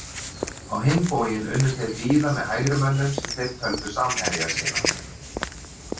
Á hinn bóginn unnu þeir víða með hægrimönnum sem þeir töldu samherja sína.